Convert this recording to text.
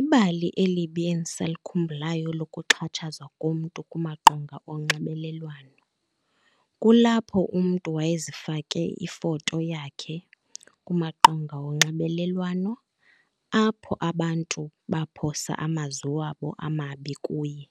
Ibali elibi endisalikhumbulayo lokuxhatshazwa komntu kumaqonga onxibelelwano kulapho umntu wayezifake ifoto yakhe kumaqonga onxibelelwano, apho abantu baphosa amazwi wabo amabi kuye.